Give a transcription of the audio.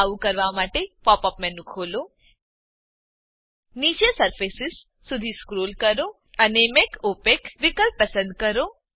આવું કરવા માટે પોપ અપ મેનુ ખોલો નીચે સરફેસ સુધી સ્ક્રોલ કરો અને મેક ઓપેક વિકલ્પ પસંદ કરો